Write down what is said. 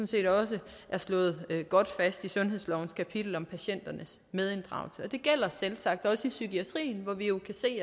set også er slået godt fast i sundhedslovens kapitel om patienternes medinddragelse det gælder selvsagt også i psykiatrien hvor vi jo kan se